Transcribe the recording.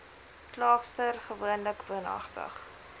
klaagster gewoonlik woonagtig